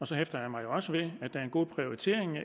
så hæfter jeg mig også ved at der er en god prioritering